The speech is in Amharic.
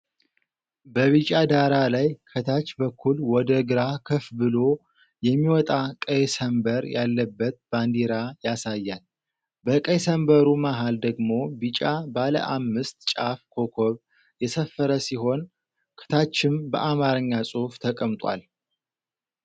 በቢጫ ዳራ ላይ ከታች በኩል ወደ ግራ ከፍ ብሎ የሚወጣ ቀይ ሰንበር ያለበት ባንዲራ ያሳያል። በቀይ ሰንበሩ መሃል ደግሞ ቢጫ ባለ አምስት ጫፍ ኮከብ የሰፈረ ሲሆን፤ ከታችም በአማርኛ ጽሑፍ ተቀምጧል።